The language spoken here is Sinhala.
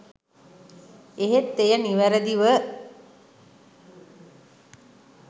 එහෙත් එය නිවරදිව